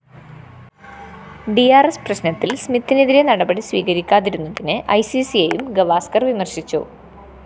D R S പ്രശ്‌നത്തില്‍ സ്മിത്തിനെതിരെ നടപടി സ്വീകരിക്കാതിരുന്നതിന് ഐസിസിയേയും ഗാവസ്‌കര്‍ വിമര്‍ശിച്ചു